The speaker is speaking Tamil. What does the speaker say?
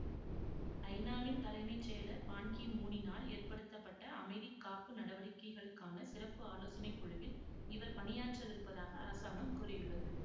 ஐநாவின் தலைமை செயலர் பான் கி மூனினால் ஏற்படுத்தப்பட்ட அமைதிகாப்பு நடவடிக்கைகளுக்கான சிறப்பு ஆலோசனை குழுவில் இவர் பணியாற்ற விருப்பதாக அரசாங்கம் கூறியுள்ளது